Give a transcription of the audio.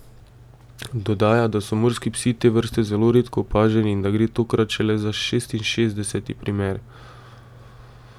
Dodaja, da so morski psi te vrste zelo redko opaženi in da gre tokrat šele za šestinšestdeseti primer.